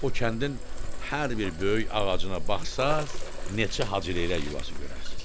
O kəndin hər bir böyük ağacına baxsanız neçə Hacıleylək yuvası görərsiz.